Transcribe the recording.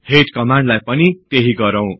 head कमान्डलाई पनि त्यहि गरौ